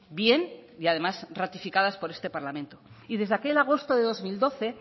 bien y además ratificadas por este parlamento y desde aquel agosto de dos mil doce